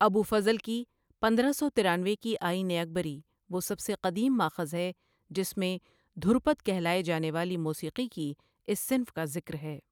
ابو فضل کی پندرہ سو ترانوے کی عین اکبری، وہ سب سے قدیم ماخذ ہے جس میں دھرپد کہلاۓ جانے والی موسیقی کی اس صنف کا ذکر ہے۔